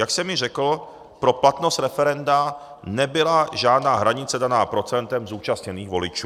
Jak jsem již řekl, pro platnost referenda nebyla žádná hranice daná procentem zúčastněných voličů.